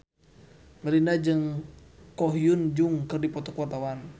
Melinda jeung Ko Hyun Jung keur dipoto ku wartawan